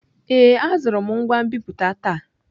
Ee, azụrụ m ngwa nbipute taa.